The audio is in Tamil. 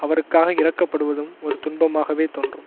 அவருக்காக இரக்கப்படுவதும் ஒரு துன்பமாகவே தோன்றும்